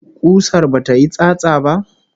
Kusar bata yi tsatsa ba?